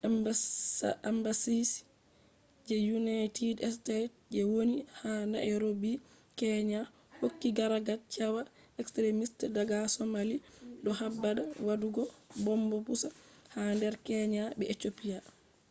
embassy je united states je woni ha nairobi kenya hokki gargadi cewa extrimist daga somalia” do habda wadugo bomb pusa ha nder kenya be ethiopia